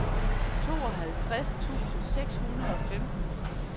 tooghalvtreds tusind seks hundrede og femten